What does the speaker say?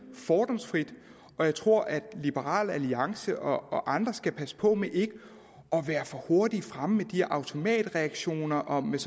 fordomsfrit og jeg tror at liberal alliance og andre skal passe på med ikke at være for hurtigt fremme med de her automatreaktioner og med